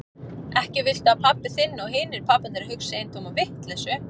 Ekki viltu að pabbi þinn og hinir pabbarnir hugsi eintóma vitleysu?